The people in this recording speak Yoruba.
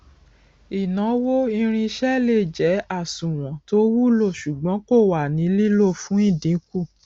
ìnáwó irinṣẹ lè jẹ àsùnwọn tó wulo ṣùgbọn kò wà ní lílò fún ìdínkù